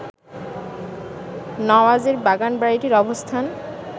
নওয়াজের বাগানবাড়িটির অবস্থান